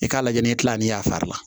I k'a lajɛ ni kila ni y'a fari la